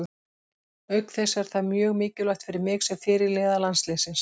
Auk þess er það mjög mikilvægt fyrir mig sem fyrirliða landsliðsins.